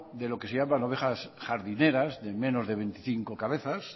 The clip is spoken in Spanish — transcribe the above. de lo que se llama ovejas jardineras de menos de veinticinco cabezas